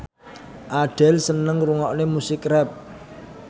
Adele seneng ngrungokne musik rap